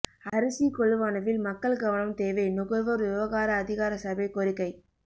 அரிசிக் கொள்வனவில் மக்கள் கவனம் தேவை நுகர்வோர் விவகார அதிகாரசபை கோரிக்கை